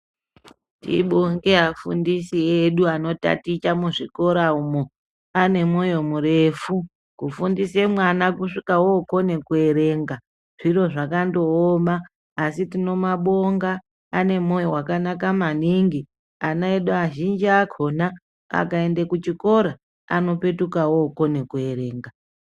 Tibonge afundisi edu anotaticha muzvikora umu. Ane moyo murefu, kufundise mwana kusvike okone kuerenga, zviro zvakandooma asi tinomabonga. Ane moyo wakanaka maningi. Ana edu azhinji akona akaende kuchikora, anopetuka okone kuerenga.